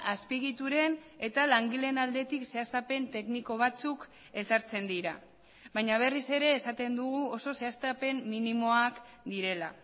azpiegituren eta langileen aldetik zehaztapen tekniko batzuk ezartzen dira baina berriz ere esaten dugu oso zehaztapen minimoak direla